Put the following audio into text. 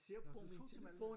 Nå du tog til Malmø